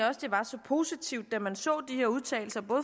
også det var så positivt da man så de her udtalelser